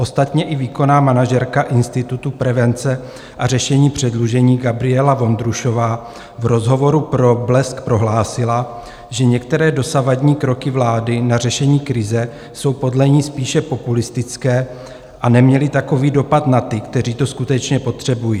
Ostatně i výkonná manažerka Institutu prevence a řešení předlužení Gabriela Vondrušová v rozhovoru pro Blesk prohlásila, že některé dosavadní kroky vlády na řešení krize jsou podle ní spíše populistické a neměly takový dopad na ty, kteří to skutečně potřebují.